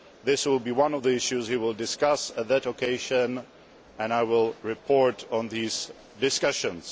This will be one of the issues he will discuss on that occasion and I will report on these discussions.